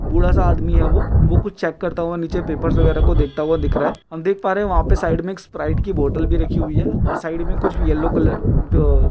बूढ़ा सा आदमी हे यो वह कुछ चेक करता हुआ नीचे पेपर वगैरा को देखता हुआ दिख रहा है हम देख पा रहे है वहां पर साइड में एक स्प्राइट की बोतल भी रखी हुई है और साइड में कुछ येलो कलर यो --